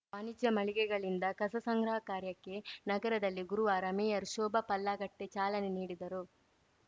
ವಾಣಿಜ್ಯ ಮಳಿಗೆಗಳಿಂದ ಕಸ ಸಂಗ್ರಹ ಕಾರ್ಯಕ್ಕೆ ನಗರದಲ್ಲಿ ಗುರುವಾರ ಮೇಯರ್‌ ಶೋಭಾ ಪಲ್ಲಾಗಟ್ಟೆಚಾಲನೆ ನೀಡಿದರು